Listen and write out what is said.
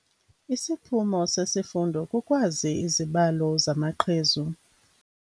Isiphumo sesifundo kukwazi izibalo zamaqhezu.